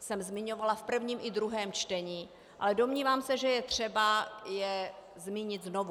jsem zmiňovala v prvním i druhém čtení, ale domnívám se, že je třeba je zmínit znovu.